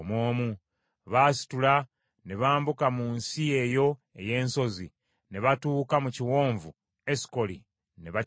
Baasitula ne bambuka mu nsi eyo ey’ensozi, ne batuuka mu kiwonvu Esukoli, ne bakiketta.